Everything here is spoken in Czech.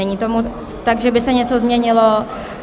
Není tomu tak, že by se něco změnilo.